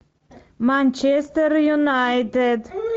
манчестер юнайтед